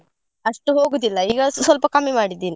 ಅಷ್ಟು ಹೋಗುದಿಲ್ಲ ಈಗ ಸ್ವಲ್ಪ ಕಮ್ಮಿ ಮಾಡಿದೀನಿ.